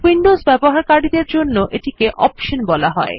Windows ব্যবহারকারীদের জন্য এটিকে অপশন বলা যায়